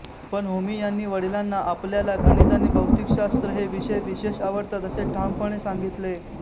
पण होमी यांनी वडिलांना आपल्याला गणित आणि भौतिकशास्त्र हे विषय विशेष आवडतात असे ठामपणे सांगितले